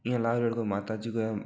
यह लाल रंग को कोई माताजी को है।